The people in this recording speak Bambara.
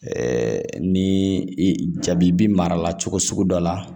ni i jaabi bi mara la cogo sugu dɔ la